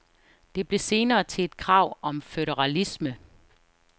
Det blev senere til et krav om føderalisme.